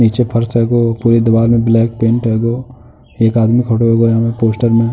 नीचे फर्श हेगो। पूरी दीवाल में ब्लैक पेंट हेगो। एक आदमी खड़े हेगो जामे पोस्टर में।